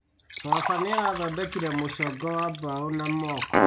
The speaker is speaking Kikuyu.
Baba nĩarathondekire mũcongo wa mbaũ na moko